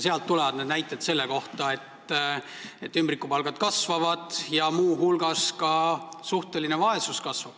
Sealt tulevad need näited selle kohta, et ümbrikupalgad kasvavad ja muu hulgas kasvab ka suhteline vaesus.